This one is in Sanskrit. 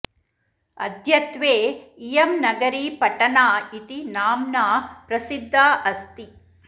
अद्यत्वे इयं नगरी पटना इति नाम्ना प्रसिद्धा अस्ति